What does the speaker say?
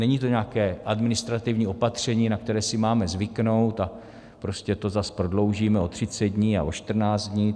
Není to nějaké administrativní opatření, na které si máme zvyknout, a prostě to zas prodloužíme o 30 dní a o 14 dní.